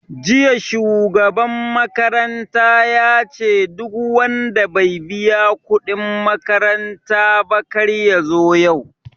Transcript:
Jiya shugaban makaranta yace duk wanda bai biya kuɗin makaranta ba kar yazo yau